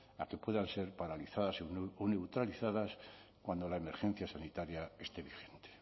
a que puedan ser paralizadas o neutralizadas cuando la emergencia sanitaria esté vigente